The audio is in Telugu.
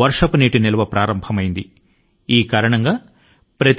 వర్షపు నీటి సంరక్షణ జరుగుతోంది